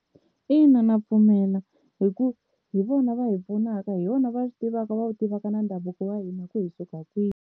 Ina ndza pfumela hi ku hi vona va hi pfunaka hi vona va swi tivaka va tivaka na ndhavuko wa hina ku hi suka kwihi.